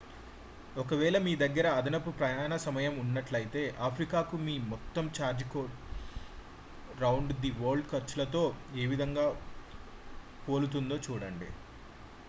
ఒకవేళ మీ దగ్గర అదనపు ప్రయాణ సమయం ఉన్నట్లయితే ఆఫ్రికాకు మీ మొత్తం ఛార్జీ కోట్ రౌండ్-ది వరల్డ్ ఖర్చులతో ఏవిధంగా పోలుతుందో చూడండి